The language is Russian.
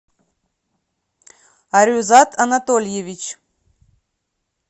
арюзат анатольевич